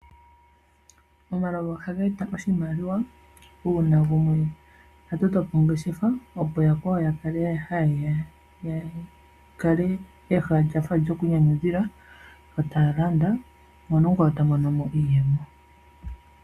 Omalovu ohaga eta oshimaliwa uuna gumwe atotopo ongeshefa opo woo yakwao yakale ha yeya yakale kehala lyafa lyokwiinyanyudhila yo taya landa mono omukwawo tamonomo iiyemo.